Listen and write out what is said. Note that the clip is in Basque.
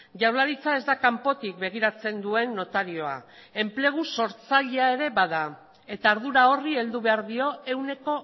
jaurlaritza ez da kanpotik begiratzen duen notarioa enplegu sortzailea ere bada eta ardura horri heldu behar dio ehuneko